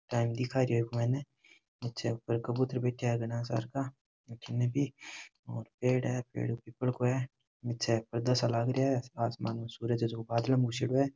Time दिखा रो है इ के मायने ऊपर कबूतर बिठा है घणा सारा इन भी पेड़ है पेड़ पीपल को है नीचे पर्दा सा लाग रहा है सूरज बादळ में घुसड़ो है।